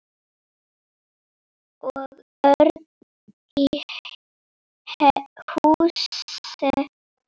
Og Örn í Húsey.